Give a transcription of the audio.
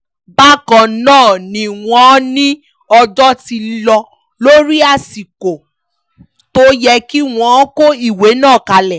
bákan náà ni wọ́n ní ọjọ́ ti lò lórí àsìkò tó yẹ kí wọ́n kọ ìwé náà kalẹ̀